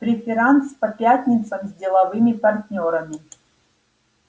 преферанс по пятницам с деловыми партнёрами